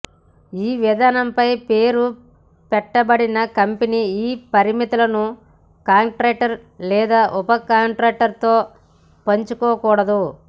ఈ విధానంపై పేరు పెట్టబడిన కంపెనీ ఈ పరిమితులను కాంట్రాక్టర్ లేదా ఉప కాంట్రాక్టర్తో పంచుకోకూడదు